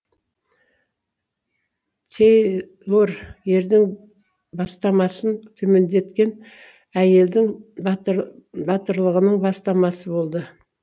тей лор ердің бастамасын төмендеткен әйелдің батыр батырлығының бастамасы болды